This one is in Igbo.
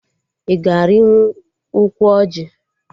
Ị ga-arịnwu ụkwụ ọjị?